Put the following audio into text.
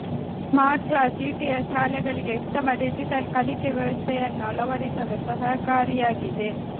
smart class CTS ಶಾಲೆಗಳಿಗೆ ಉತ್ತಮ digital ಕಲಿಕೆ ವ್ಯವಸ್ಥೆಯನ್ನು ಅಳವಡಿಸಲು ಸಹಕಾರಿಯಾಗಿದೆ